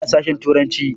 Ina sashen turanci.